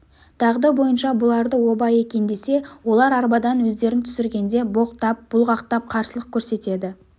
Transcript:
дағды бойынша бұларды оба екен десе олар арбадан өздерін түсіргенде боқтап бұлғақтап қарсылық көрсетеді